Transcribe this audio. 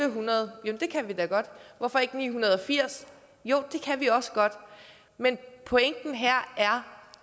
en hundrede jo det kan vi da godt hvorfor ikke 980 jo det kan vi også godt men pointen her er